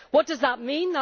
What does that mean?